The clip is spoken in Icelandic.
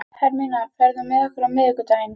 Hermína, ferð þú með okkur á miðvikudaginn?